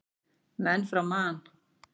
Menn frá Man.